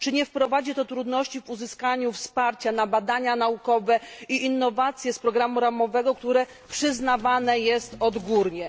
Czy nie wprowadzi to trudności w uzyskiwaniu wsparcia na badania naukowe i innowacje z programu ramowego, które przyznawane jest odgórnie?